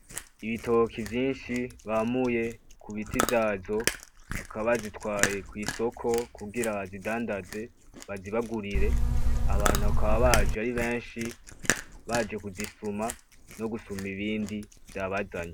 Ibitoki vyinshi bamuye kubiti vyavyo bakaba bazitwaye kwisoko kugira bazidandaze bazibagurire abantu bakababaje aribenshi baje kuzisuma no gusuma ibindi vyabazanye.